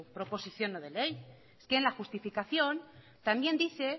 proposición no de ley es que en la justificación también dice